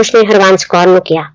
ਉਸਨੇ ਹਰਬੰਸ ਕੌਰ ਨੂੰ ਕਿਹਾ।